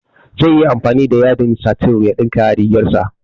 Zaiyi amfani da yadin satin ya ɗinka rigar dashi